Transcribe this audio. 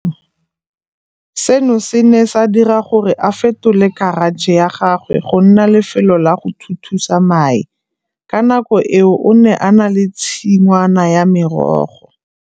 Seno se ne sa dira gore a fetole karatšhe ya gagwe go nna lefelo la go thuthusa mae. Ka nako eo o ne a na le tshingwana ya merogo.